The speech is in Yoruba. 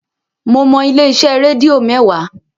Mo mọ ilé-iṣẹ́ rédíò mẹ́wàá